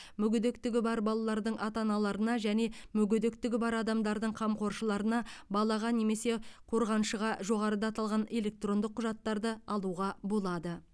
мүгедектігі бар балалардың ата аналарына және мүгедектігі бар адамдардың қамқоршыларына балаға немесе қорғаншыға жоғарыда аталған электрондық құжаттарды алуға болады